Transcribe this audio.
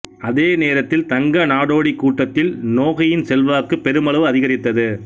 அதே நேரத்தில் தங்க நாடோடி கூட்டத்தில் நோகையின் செல்வாக்கு பெருமளவு அதிகரித்தது